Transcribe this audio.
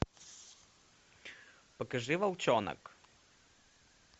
покажи волчонок